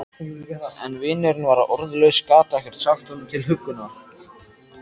En vinurinn var orðlaus, gat ekkert sagt honum til huggunar.